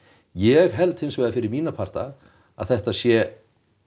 ég held hins vegar fyrir mína parta að þetta sé